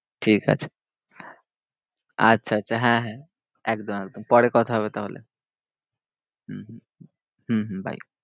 ঠিকাছে আচ্ছা আচ্ছা হ্যাঁ হ্যাঁ একদম একদম। পরে কথা হবে তাহলে। হম হম হম হম bye.